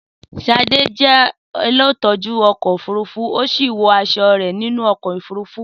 Sade jẹ́ olùtọ́jú ọkọ̀ òfurufú, ó sì wọ aṣọ nínú ọkọ̀ òfurufú.